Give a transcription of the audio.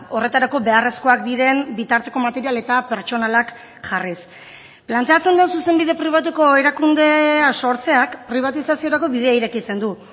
horretarako beharrezkoak diren bitarteko material eta pertsonalak jarriz planteatzen da zuzenbide pribatuko erakundea sortzeak pribatizaziorako bidea irekitzen du